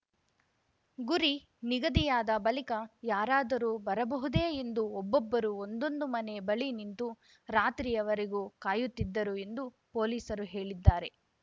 ಗುರಿ ನಿಗದಿಯಾದ ಬಳಿಕ ಯಾರಾದರೂ ಬರಬಹುದೇ ಎಂದು ಒಬ್ಬೊಬ್ಬರೂ ಒಂದೊಂದು ಮನೆ ಬಳಿ ನಿಂತು ರಾತ್ರಿಯವರೆಗೂ ಕಾಯುತ್ತಿದ್ದರು ಎಂದು ಪೊಲೀಸರು ಹೇಳಿದ್ದಾರೆ